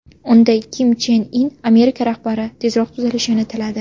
Unda Kim Chen In Amerika rahbari tezroq tuzalishini tiladi.